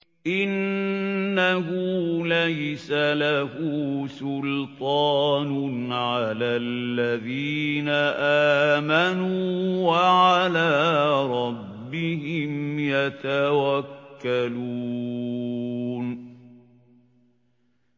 إِنَّهُ لَيْسَ لَهُ سُلْطَانٌ عَلَى الَّذِينَ آمَنُوا وَعَلَىٰ رَبِّهِمْ يَتَوَكَّلُونَ